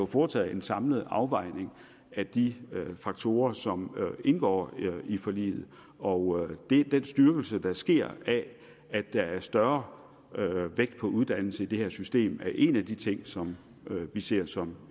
foretaget en samlet afvejning af de faktorer som indgår i forliget og den styrkelse der sker af at der er større vægt på uddannelse i det her system er en af de ting som vi ser som